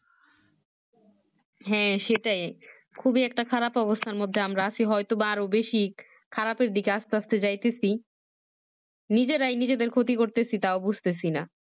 হ্যাঁ সেটাই খুবই একটা খারাপ অবস্থার মধ্যে আমরা আছি হয়তো বা আরো বেশি খারাপ এর দিকে আস্তে আস্তে যাইতেছি নিজেরাই নিজের ক্ষতি করতেছি তাও বুজতেছিনা